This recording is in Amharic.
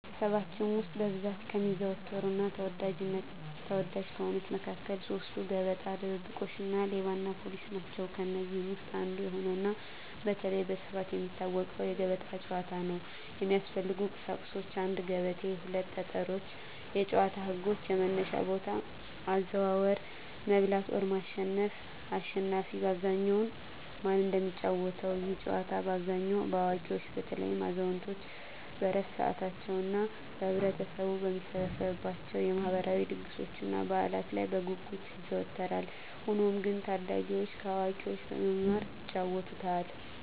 በኅብረተሰባችን ውስጥ በብዛት ከሚዘወተሩና ተወዳጅ ከሆኑት መካከል ሦስቱ፤ ገበጣ፣ ድብብቆሽ እና ሌባና ፖሊስ ናቸው። ከእነዚህ ውስጥ አንዱ የሆነውና በተለይም በስፋት የሚታወቀው የገበጣ ጨዋታ ነው። የሚያስፈልጉ ቁሳቁሶች 1; ገበቴ 2; ጠጠሮች የጨዋታው ህጎች - የመነሻ ቦታ፣ አዘዋወር፣ መብላት (ማሸነፍ)፣አሽናፊ በአብዛኛው ማን እንደሚጫወተው፤ ይህ ጨዋታ በአብዛኛው በአዋቂዎች (በተለይም አዛውንቶች በዕረፍት ሰዓታቸው) እና ህብረተሰቡ በሚሰበሰብባቸው የማህበራዊ ድግሶችና በዓላት ላይ በጉጉት ይዘወተራል። ሆኖም ግን ታዳጊዎችም ከአዋቂዎች በመማር ይጫወቱታል።